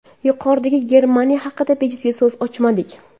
Yuqorida Germaniya haqida bejizga so‘z ochmadik.